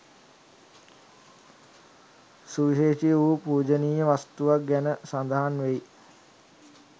සුවිශේෂ වූ පූජනීය වස්තුවක් ගැන සඳහන් වෙයි.